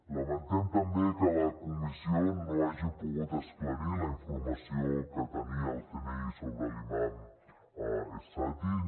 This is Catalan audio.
lamentem també que la comissió no hagi pogut esclarir la informació que tenia el cni sobre l’imam es satty